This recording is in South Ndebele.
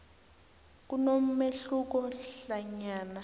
kunomehluko hlanyana